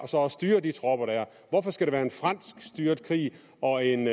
for at styre de tropper der hvorfor skal det være en fransk styret krig og en